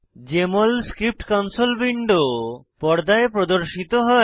JML script console window পর্দায় প্রর্দশিত হয়